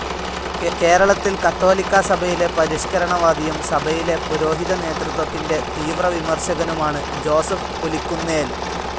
കേരളത്തിൽ കത്തോലിക്കാസഭയിലെ പരിഷ്ക്കരണവാദിയും സഭയിലെ പുരോഹിതനേതൃത്വത്തിൻ്റെ തീവ്രവിമർശകനുമാണ് ജോസഫ് പുലിക്കുന്നേൽ.